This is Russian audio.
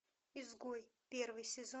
изгой первый сезон